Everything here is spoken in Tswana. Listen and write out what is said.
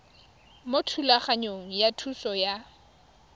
mo thulaganyong ya thuso y